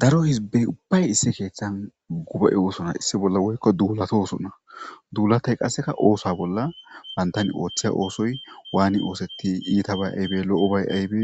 Daro hizbey ubbay issi keeththan guba'e oosona issi bolla woykko duulatosuna duulatay qasseka oosa bolla bayntan ooththeya oosoy waani oosetti iita bay aybe lo'o bay aybe